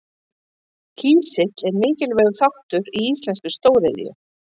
Kísill er mikilvægur þáttur í íslenskri stóriðju.